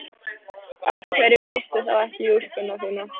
Af hverju fórstu þá ekki í úlpuna þína?